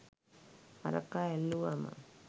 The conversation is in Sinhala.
අරකා ඇල්ලුවම